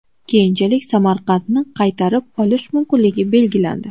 Keyinchalik Samarqandni qaytarib olish mumkinligi belgilandi.